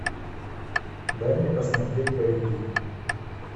дай мне посмотреть боевик